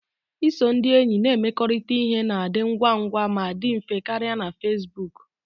Iso ndị enyi na-emekọrịta ihe na-adị ngwa ngwa ma dị mfe karịa na Facebook